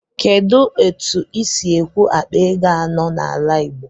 Kedụ etu ịsi ekwụ akpa ego anọ n'ala igbo?